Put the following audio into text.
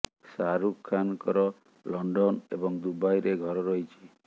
ଶାହାରୁଖ ଖାନ୍ ଙ୍କର ଲଣ୍ଡନ ଏବଂ ଦୁବାଇରେ ଘର ରହିଛି